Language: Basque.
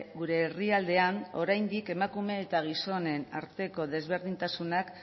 gure herrialdean oraindik emakume eta gizonen arteko desberdintasunak